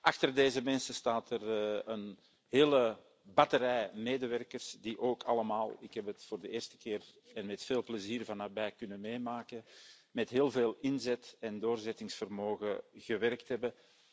Achter deze mensen staat er een hele batterij medewerkers die ook allemaal ik heb het voor de eerste keer en met veel plezier van nabij kunnen meemaken met heel veel inzet en doorzettingsvermogen gewerkt hebben.